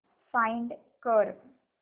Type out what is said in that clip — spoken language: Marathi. फाइंड कर